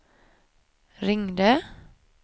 ringde